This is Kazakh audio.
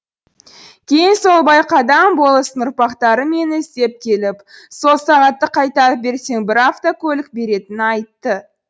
кейін сол байқадам болыстың ұрпақтары мені іздеп келіп сол сағатты қайтарып берсең бір автокөлік беретінін айтты